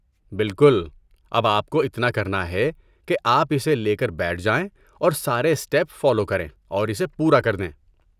بالکل! اب آپ کو اتنا کرنا ہے کہ آپ اسے لے کر بیٹھ جائیں اور سارے اسٹیپ فالو کریں اور اسے پورا کر دیں۔